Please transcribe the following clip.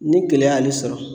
Ni gɛlɛya y'ale sɔrɔ.